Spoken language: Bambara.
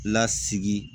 Lasigi